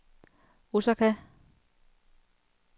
Osaka